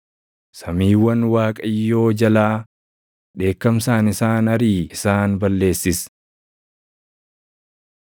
Samiiwwan Waaqayyoo jalaa dheekkamsaan isaan ariʼii isaan balleessis.